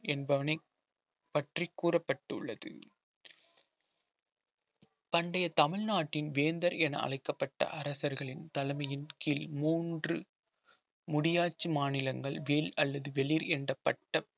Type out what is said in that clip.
என்பவனை பற்றி கூறப்பட்டுள்ளது பண்டைய தமிழ்நாட்டின் வேந்தர் என அழைக்கப்பட்ட அரசர்களின் தலைமையின் கீழ் மூன்று முடியாச்சி மாநிலங்கள் வேல் அல்லது வெளிர் என்ற பட்டப்~